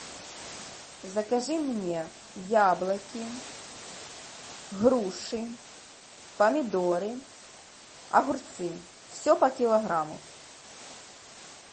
закажи мне яблоки груши помидоры огурцы все по килограмму